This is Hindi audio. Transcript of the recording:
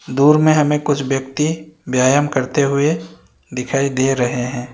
दूर में हमें कुछ व्यक्ति व्यायाम करते हुए दिखाई दे रहे हैं।